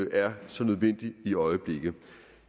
er så nødvendig i øjeblikket